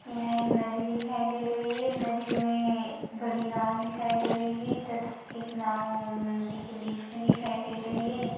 यह एक नदी दिखाई दे रही है नदी में बड़ी नाव दिखाई दे रही है तथा एक नाव नदी के बीच में दिखाई दे रही है।